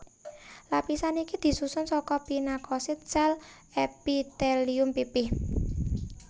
Lapisan iki disusun saka pinakosit sél epitelium pipih